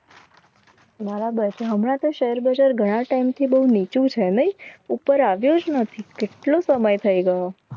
મારા હમણાં તો શેર બજાર ગયા ઘણા ટાઈમથી બહુ નીચું છે નહીં ઉપર આવ્યો જ નથી. કેટલો સમય થઈ ગયો